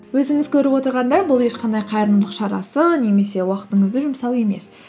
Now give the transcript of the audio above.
өзіңіз көріп отырғандай бұл ешқандай қайырымдылық шарасы немесе уақытыңызды жұмсау емес